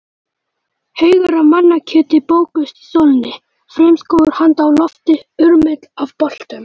Haugar af mannakjöti bökuðust í sólinni, frumskógur handa á lofti, urmull af boltum.